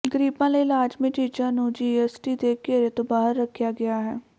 ਗਰੀਬਾਂ ਲਈ ਲਾਜ਼ਮੀ ਚੀਜ਼ਾਂ ਨੂੰ ਜੀਐੱਸਟੀ ਦੇ ਘੇਰੇ ਤੋਂ ਬਾਹਰ ਰੱਖਿਆ ਗਿਆ ਹੈ